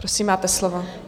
Prosím, máte slovo.